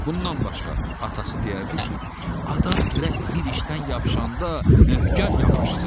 Bundan başqa, atası deyərdi ki, adam gərək bir işdən yapışanda möhkəm yapışsın.